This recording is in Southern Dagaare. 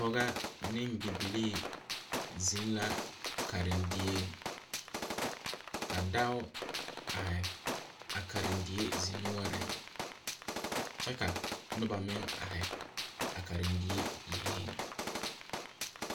Pɔgba ne bibilii zeng la karendie ka doɔ arẽ a karindie dinnoɔring kye ka nuba meng arẽ a karindie yenge.